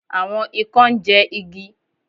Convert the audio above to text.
Àwon ikán ńjẹ igi.